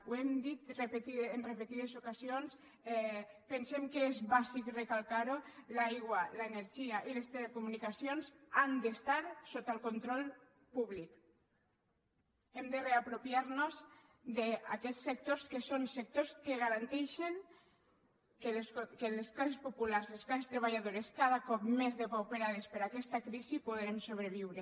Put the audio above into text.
ho hem dit en repetides ocasions pensem que és bàsic recalcar ho l’aigua l’energia i les telecomunicacions han d’estar sota el control públic hem de reapropiar nos d’aquests sectors que són sectors que garanteixen que les classes populars les classes treballadores cada cop més depauperades per aquesta crisi podrem sobreviure